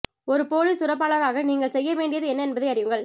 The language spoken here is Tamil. ஒரு பொலிஸ் துறப்பாளராக நீங்கள் செய்ய வேண்டியது என்ன என்பதை அறியுங்கள்